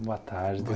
Boa tarde.